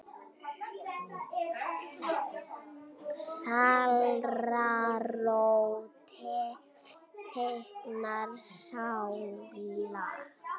Sálarró tengdra sála.